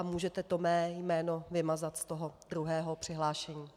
A můžete to mé jméno vymazat z toho druhého přihlášení .